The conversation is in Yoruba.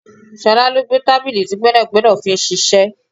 Ṣọlá ló gbé tábìlì tí gbẹ́nàgbẹ́nà fi ń ṣiṣẹ́.